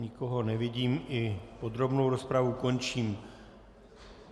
Nikoho nevidím, i podrobnou rozpravu končím.